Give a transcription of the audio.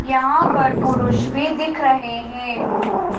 यहां पर पुरुष भी दिख रहे हैं।